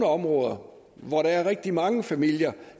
områder hvor der er rigtig mange familier